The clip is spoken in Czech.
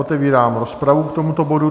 Otevírám rozpravu k tomuto bodu.